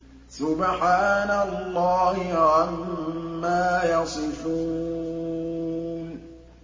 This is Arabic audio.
سُبْحَانَ اللَّهِ عَمَّا يَصِفُونَ